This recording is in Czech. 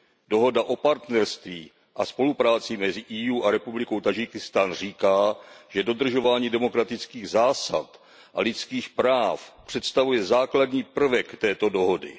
Dohoda o partnerství a spolupráci mezi EU a Republikou Tádžikistán říká, že dodržování demokratických zásad a lidských práv představuje základní prvek této dohody.